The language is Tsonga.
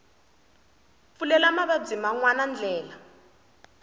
pfulela mavabyi man wana ndlela